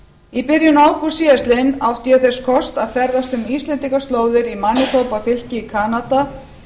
í byrjun ágúst síðastliðnum átti ég þess kost að ferðast um íslendingaslóðir í manitoba fylki í kanada